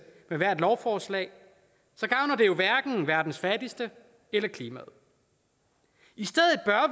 med hvert lovforslag så gavner det jo hverken verdens fattigste eller klimaet i stedet bør